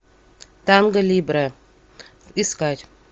танго либре искать